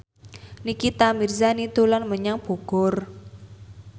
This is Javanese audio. Nikita Mirzani dolan menyang Bogor